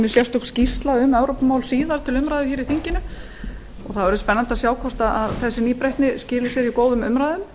sérstök skýrsla um evrópumál komi síðar til umræðu í þinginu það verður spennandi að sjá hvort þessi nýbreytni skili sér í góðum umræðum